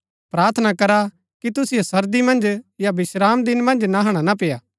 प्रार्थना करा कि तुसिओ सर्दी मन्ज या विश्रामदिन मन्ज नहणा ना पेय्आ